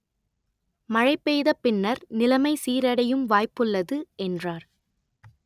மழை பெய்த பின்னர் நிலமை சீரடையும் வாய்ப்புள்ளது” என்றார்